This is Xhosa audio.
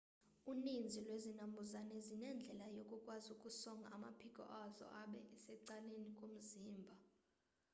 uninzi lwezinambuzane zinendlela yokukwazi ukusonga amaphiko azo abe secaleni komzimba